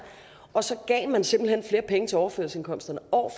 og så gav man simpelt hen flere penge til overførselsindkomsterne år